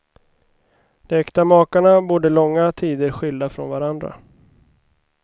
De äkta makarna bodde långa tider skilda från varandra.